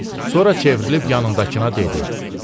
Sonra çevrilib yanındakına dedi: